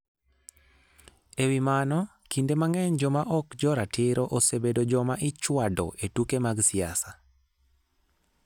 E wi mano, kinde mang'eny joma ok jo ratiro osebedo joma ichwado e tuke mag siasa.